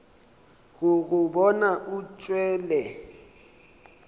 go go bona o tšwele